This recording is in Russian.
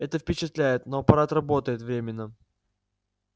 это впечатляет но аппарат работает временно